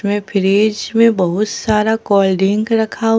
में फ्रिज में बहुत सारा कोल्ड ड्रिंक रखा--